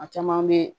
A caman bɛ